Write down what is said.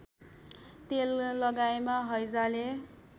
तेल लगाएमा हैजाले